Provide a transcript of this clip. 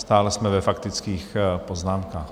Stále jsme ve faktických poznámkách.